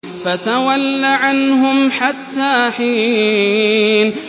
فَتَوَلَّ عَنْهُمْ حَتَّىٰ حِينٍ